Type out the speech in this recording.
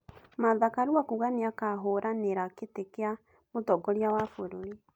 Martha Karua kuuga nĩakahũũranĩra gĩtĩ kĩa mũtongoria wa bũrũri